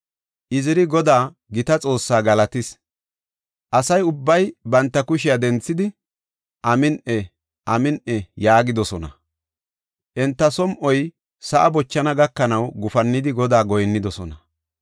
Iziri Godaa, gita Xoossaa galatis. Asa ubbay banta kushiya denthidi, “Amin7i! Amin7i!” yaagidosona. Enta som7oy sa7a bochana gakanaw gufannidi Godaa goyinnidosona.